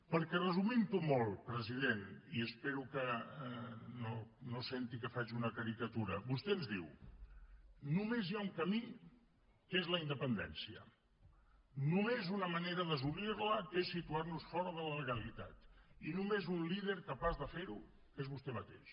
perquè resumintho molt president i espero que no senti que faig una caricatura vostè ens diu només hi ha un camí que és la independència només una manera d’assolirla que és situarnos fora de la legalitat i només un líder capaç de ferho que es vostè mateix